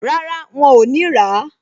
Rárá, wọn ò ní rà á